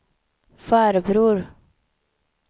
farbror